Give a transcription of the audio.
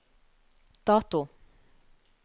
dato